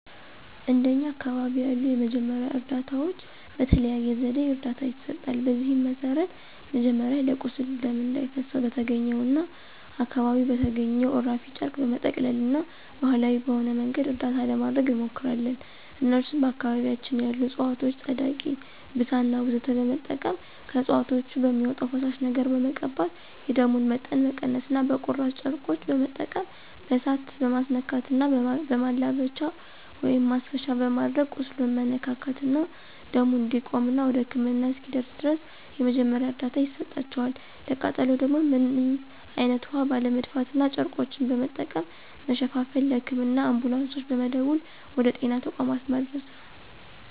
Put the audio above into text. እንደኛ አካባቢ ያሉ የመጀመሪያ እርዳታዎች በተለያየ ዘዴ እርዳታ ይሰጣል። በዚህም መሰረት መጀመሪያ ለቁስል ደም እንዳይፈሰው በተገኘውና አካባቢው በተገኘው እራፊ ጨርቅ በመጠቅለልና ባሀላዊ በሆነ መንገድ እርዳታ ለማድረግ እንሞክራለን እነሱም በአካባቢያችን ያሉ እፅዋቶችን ፀዳቂ፣ ብሳና ወዘተ በመጠቀም ከእፅዋቶች በሚወጣው ፈሳሽ ነገር በመቀባት የደሙን መጠን መቀነስና በቁራጭ ጨርቆች በመጠቀም በእሳት መማስነካትና በማላበቻ(ማሰሻ)በማድረግ ቁስሉን መነካካትና ደሙ እንዲቆምና ወደ ህክምና እስኪደርስ ድረስ የመጀመሪያ እርዳታ ይሰጣቸዋል፣ ለቃጠሎ ደግሞ ምንም አይነት ውሀ ባለመድፋትና ጨርቆችን በመጠቀም መሸፋፈንና ለህክምና አንቡላንሶች በመደወል ወደ ጤና ተቋማት ማድረስ ነው።